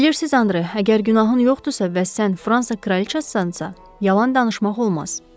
Bilirsiniz, Andre, əgər günahın yoxdursa, bəs sən Fransa kraliça yalan danışmaq olmaz.